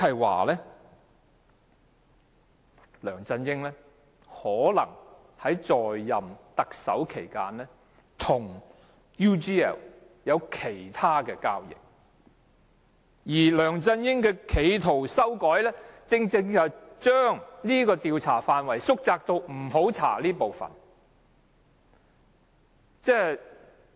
換言之，梁振英在擔任特首期間，可能與 UGL 還有其他交易，而梁振英企圖修改調查範圍，正正是要把範圍縮窄至不會調查那些部分。